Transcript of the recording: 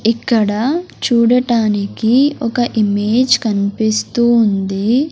ఇక్కడ చూడటానికి ఒక ఇమేజ్ కన్పిస్తూ ఉంది.